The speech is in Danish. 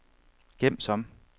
gem som